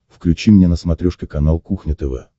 включи мне на смотрешке канал кухня тв